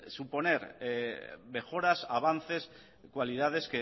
suponer mejoras avances cualidades